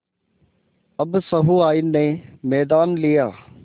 अब सहुआइन ने मैदान लिया